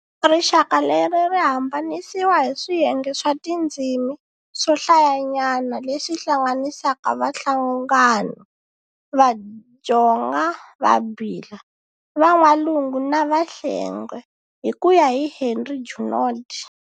Rixaka leri ri hambanisiwa hi swiyenge swa tindzimi swo hlayanyana leswi hlanganisaka Vahlanganu, Vadjonga, Vabila, Van'walungu na Vahlengwe, hi ku ya hi Henry Junod.